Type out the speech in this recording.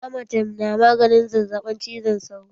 Amatem na maganin zazzaɓin cizon sauro